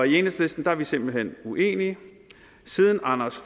i enhedslisten er vi simpelt hen uenige siden anders